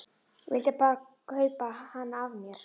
Vildi bara kaupa hana af mér!